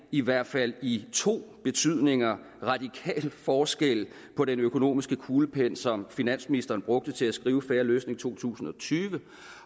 i hvert fald i to betydninger radikal forskel på den økonomiske kuglepen som finansministeren brugte til at skrive fair løsning to tusind og tyve